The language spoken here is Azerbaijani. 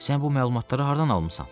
Sən bu məlumatları hardan almısan?